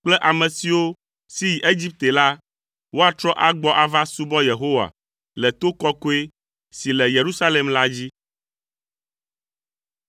kple ame siwo si yi Egipte la, woatrɔ agbɔ ava subɔ Yehowa le to kɔkɔe si le Yerusalem la dzi.